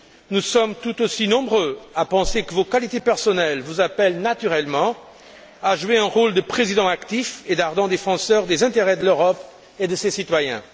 Nous sommes tout aussi nombreux à penser que vos qualités personnelles vous appellent naturellement à jouer un rôle de président actif et d'ardent défenseur des intérêts de l'Europe et de ses citoyens.